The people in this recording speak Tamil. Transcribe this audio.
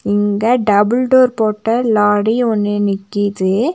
இங்க டபுள் டோர் போட்ட லாடி ஒன்னு நிக்கிது.